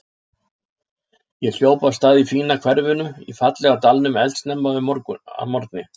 Ég hljóp af stað í fína hverfinu í fallega dalnum eldsnemma að morgni.